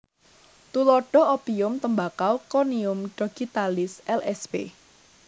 Tuladha opium tembakau konium dogitalis lsp